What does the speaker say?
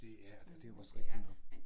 Det ja og det det jo også rigtigt nok